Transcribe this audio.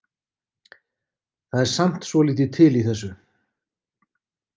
Það er samt svolítið til í þessu.